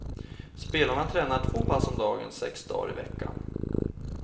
Spelarna tränar två pass om dagen, sex dagar i veckan.